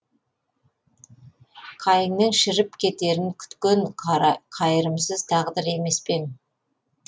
қайыңның шіріп кетерін күткен қайырымсыз тағдыр емес пе ең